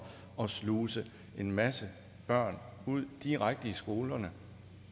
at sluse en masse børn direkte ud i skolerne